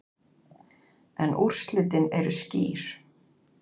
En úrslitin eru skýr.